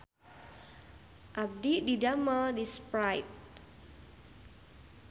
Abdi didamel di Sprite